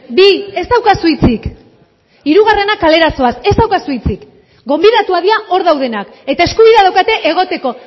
bi ez daukazu hitzik hirugarrena kalera zoaz ez daukazu hitzik gonbidatuak dira hor daudenak eta eskubidea daukate egoteko